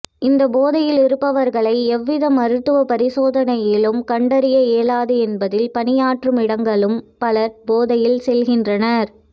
இந்த போதையில் இருப்பவர்களை எவ்வித மருத்துவ பரிசோதனையிலும் கண்டறிய இயலாது என்பதால் பணியாற்றும் இடங்களுக்கும் பலர் போதையில் செல்கின்றனர்